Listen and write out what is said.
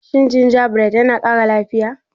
Shin gingerbread yana kara lafiya?